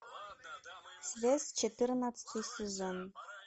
связь четырнадцатый сезон